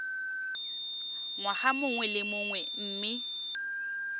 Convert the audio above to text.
ngwaga mongwe le mongwe mme